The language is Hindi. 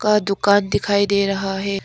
और दुकान दिखाई दे रहा है।